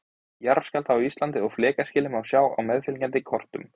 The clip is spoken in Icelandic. jarðskjálfta á íslandi og flekaskilin má sjá á meðfylgjandi kortum